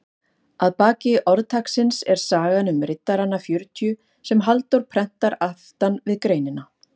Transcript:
Að baki orðtaksins er sagan um riddarana fjörutíu sem Halldór prentar aftan við greinina.